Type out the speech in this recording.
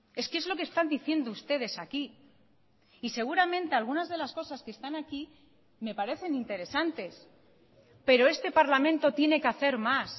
es que es lo que están diciendo ustedes aquí y seguramente algunas de las cosas que están aquí me parecen interesantes pero este parlamento tiene que hacer más